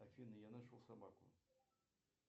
афина я нашел собаку